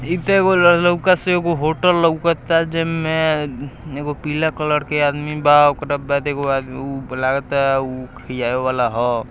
इ तो एगो ल लोकस एगो होटल लोकता जेमे एगो पीला कलर के आदमी बा ओकरा बाद एगो आदमी लागता उ खियावे वाला ह |